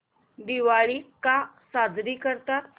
दिवाळी का साजरी करतात